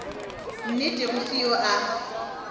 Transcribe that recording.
nnete go se yo a